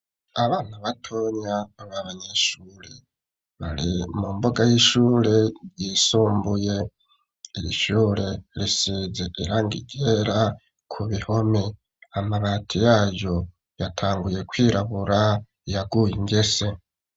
Abana batonya babanyeshure bari mu mbuga y'ishure yisumbuye, iri shure risize irangi ryera ku bihome amabati yayo yatanguye kwirabura yaguye ingese.